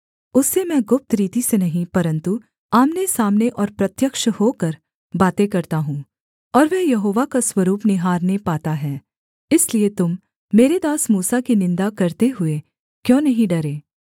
उससे मैं गुप्त रीति से नहीं परन्तु आमनेसामने और प्रत्यक्ष होकर बातें करता हूँ और वह यहोवा का स्वरूप निहारने पाता है इसलिए तुम मेरे दास मूसा की निन्दा करते हुए क्यों नहीं डरे